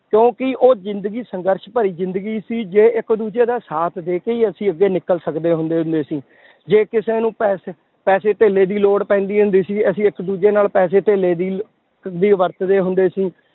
ਕਿਉਂਕਿ ਉਹ ਜ਼ਿੰਦਗੀ ਸੰਘਰਸ਼ ਭਰੀ ਜ਼ਿੰਦਗੀ ਸੀ, ਜੇ ਇੱਕ ਦੂਜੇ ਦਾ ਸਾਥ ਦੇ ਕੇ ਹੀ ਅਸੀਂ ਅੱਗੇ ਨਿਕਲ ਸਕਦੇ ਹੁੰਦੇ ਹੁੰਦੇ ਸੀ, ਜੇ ਕਿਸੇ ਨੂੰ ਪੈਸੇ ਪੈਸੇ ਧੇਲੇ ਦੀ ਲੋੜ ਪੈਂਦੀ ਹੁੰਦੀ ਸੀ, ਅਸੀਂ ਇੱਕ ਦੂਜੇ ਨਾਲ ਪੈਸੇ ਧੇਲੇ ਦੀ ਦੀ ਵਰਤਦੇ ਹੁੰਦੇ ਸੀ